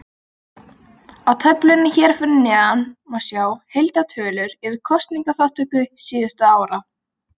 Á töflunni hér fyrir neðan má sjá heildartölur yfir kosningaþátttöku síðustu ára.